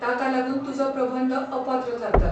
ताका लागून तुजो प्रबंध अपात्र थारता.